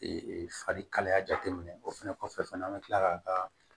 farikalaya jateminɛ o fɛnɛ kɔfɛ fɛnɛ an be kila k'a kaa